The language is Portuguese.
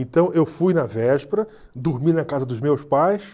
Então eu fui na véspera, dormi na casa dos meus pais.